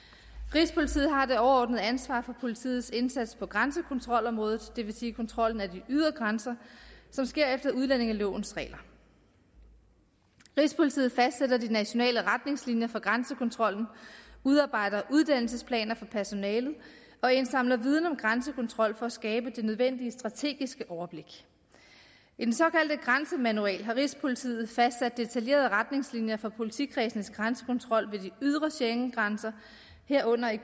rigspolitiet har det overordnede ansvar for politiets indsats på grænsekontrolområdet det vil sige kontrollen af de ydre grænser som sker efter udlændingelovens regler rigspolitiet fastsætter de nationale retningslinjer for grænsekontrollen udarbejder uddannelsesplaner for personalet og indsamler viden om grænsekontrol for at skabe det nødvendige strategiske overblik i den såkaldte grænsemanual har rigspolitiet fastsat detaljerede retningslinjer for politikredsenes grænsekontrol ved de ydre schengengrænser herunder i